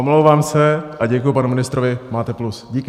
Omlouvám se a děkuji panu ministrovi, máte plus, díky.